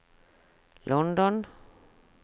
London